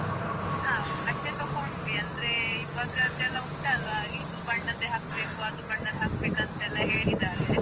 ಹಾ ಬಟ್ಟೆ ತೊಕೊಂಡ್ವಿ. ಅಂದ್ರೇ. ಇವಾಗದೆಲ್ಲ ಉಂಟಲ್ವಾ ಇದು ಬಣ್ಣದ್ದೇ ಹಾಕ್ಬೇಕು, ಅದು ಬಣ್ಣದ್ ಹಾಕ್ಬೇಕು ಅಂತ ಹೇಳಿದಾರೆ.